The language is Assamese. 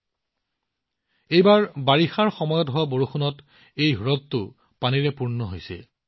এইবাৰ এই হ্ৰদটো বাৰিষাৰ সময়ত বৰষুণৰ পানীৰে প্লাবিত হৈছে